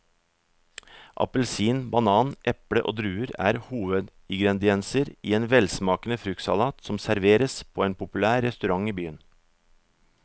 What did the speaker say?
Appelsin, banan, eple og druer er hovedingredienser i en velsmakende fruktsalat som serveres på en populær restaurant i byen.